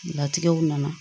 Latigɛw nana